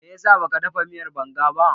Me ya sa ba ka dafa miyar banga ba?